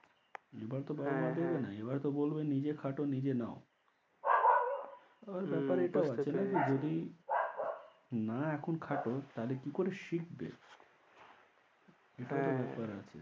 এবার তো বাবা মা দেবে না, হ্যাঁ হ্যাঁ এবার তো বলবে নিজে খাটো নিজে নাও হম আবার ব্যপার এটাও আছে নাকি যদি না এখন খাটো তাহলে কি করে শিখবে? এটাও তো ব্যপার আছে। হ্যাঁ।